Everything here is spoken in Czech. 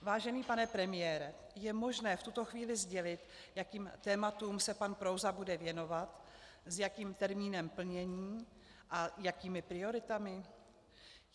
Vážený pane premiére je možné v tuto chvíli sdělit, jakým tématům se pan Prouza bude věnovat, s jakým termínem plnění a jakými prioritami?